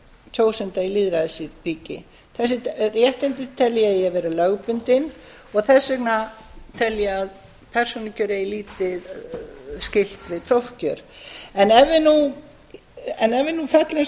tryggja kjósanda í lýðræðisríki þessi réttindi tel ég að eigi að vera lögbundin og þess vegna tel ég að persónukjör eigi lítið skylt við prófkjör en ef við nú föllumst á það